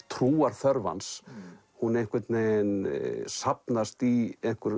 trúarþörf hans hún einhvern veginn safnast í einhverja